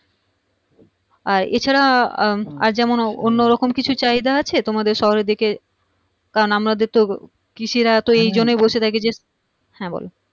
আর এ ছাড়া আহ আর যেমন অন্য রকম কিছু চাহিদা আছে তোমাদের শহরের দিকে কারণ আমাদের তো কৃষিরা তো এইজন্যেই বসে থাকে যে হ্যাঁ বলো